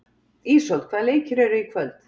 Ísold, hvaða leikir eru í kvöld?